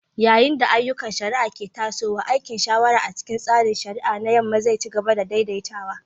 Yayin da ayyukan shari'a ke tasowa, aikin shawara a cikin tsarin shari'a na Yamma zai ci gaba da daidaitawa.